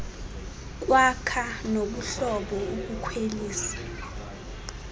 kwakha nobuhlobo ukukhwelisa